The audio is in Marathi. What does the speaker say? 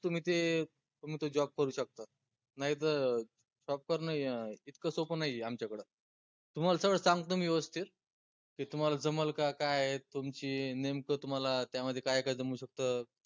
तुम्ही ते तुम्ही तो job करू शकता नाई तर software नाई आय इतकं सोपं नाई आय आमच्याकडं तुमाल सगळं सांगतो मी व्यवस्थित ते तुम्हाला जमल का काय आय? तुमची नेमकं तुम्हाला त्यामध्ये काय काय जमू शकत